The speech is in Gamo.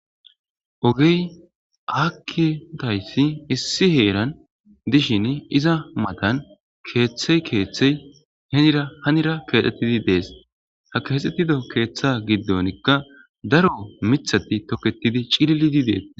ogey akidayisi issi heeran dishin iza matan keeththey keeththey henira hanira keexettidi dees ha keexxettido keeththa giddonikka daro mithati toketidi cillidi dees